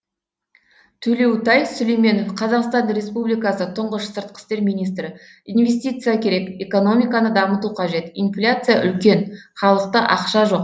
төлеутай сүлейменов қазақстан республикасы тұңғыш сыртқы істер министрі инвестиция керек экономиканы дамыту қажет инфляция үлкен халықта ақша жоқ